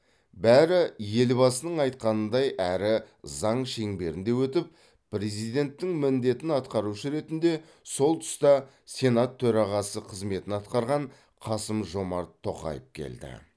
бәрі елбасының айтқанындай әрі заң шеңберінде өтіп президенттің міндетін атқарушы ретінде сол тұста сенат төрағасы қызметін атқарған қасым жомарт тоқаев келді